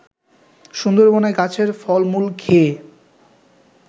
সুন্দরবনে গাছের ফল-মূল খেয়ে